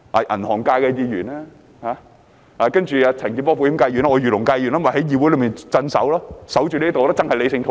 銀行界的議員，保險界的陳健波議員，我是漁農界議員，我便在議會內鎮守，守着這裏，維持理性討論。